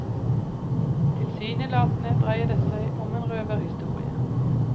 Tilsynelatende dreier det seg om en røverhistorie.